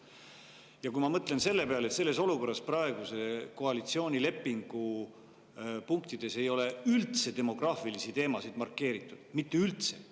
Ja kui ma mõtlen selle peale, et praeguse koalitsioonilepingu punktides ei ole üldse demograafilisi teemasid markeeritud – üldse mitte!